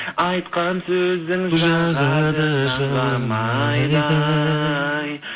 айтқан сөзің жағады жанға майдай